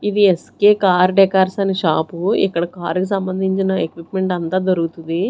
ఇవి S K car decors అనే shop ఇక్కడ కార్ కి సంబంధించిన ఎక్విప్మెంట్ అంతా దొరుకుతది.